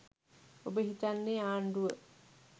ඔබ හිතන්නේ ආණ්ඩුව